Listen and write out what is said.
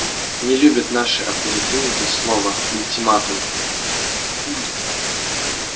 не любят наши оперативники слова ультиматум